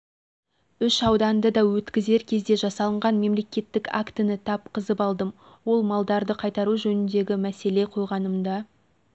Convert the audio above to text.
үш ауданды өткізер кезде жасалынған мемлекеттік актіні тапқызып алдым осы малдарды қайтару жөнінде мәселе қойғанымда